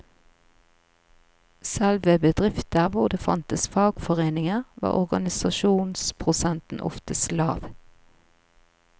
Selv ved bedrifter hvor det fantes fagforeninger, var organisasjonsprosenten oftest lav.